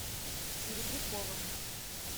серебряковым